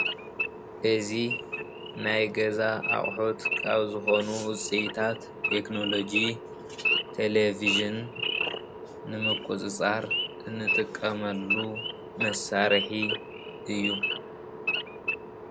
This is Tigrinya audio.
እዚ ናይ ገዛ ኣቅሑት ካብ ዝኮኑ ውፅኢታት ቴክኖሎጂ ተለቪዥን ንምቁፅፃር እንጥቀመሉ መሳርሒ እዩ፡፡